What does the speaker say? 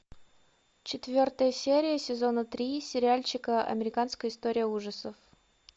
четвертая серия сезона три сериальчика американская история ужасов